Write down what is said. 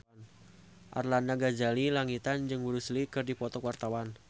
Arlanda Ghazali Langitan jeung Bruce Lee keur dipoto ku wartawan